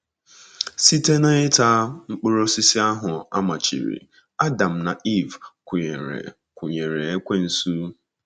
Site n’ita mkpụrụ osisi ahụ a machiri, Adam na Eve kwụnyeere kwụnyeere ekwensu.